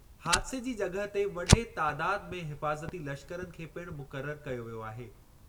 हादिसे जी जॻहि ते वडे तादादु में हिफ़ाज़ती लश्करनि खे पिणु मुक़ररु कयो वियो आहे।